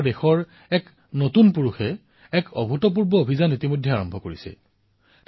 কিন্তু আমাৰ দেশৰ এজন তৰুণে এক অতুলনীয় অভিযান আৰম্ভ কৰিছে